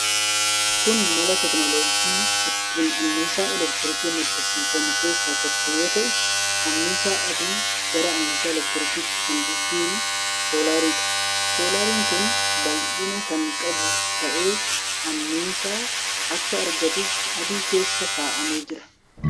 Kun mala teekinooloojii ittiin annisaan elektirikii maddisiifamu keessaa tokko yoo ta'u, annisaa aduu gara annisaa elektirikiitti kan jijjiiru soolaariidha. Soolaariin kun bal'ina kan qabu ta'ee annisaa akka argatuuf aduu keessa kaa'amee jira.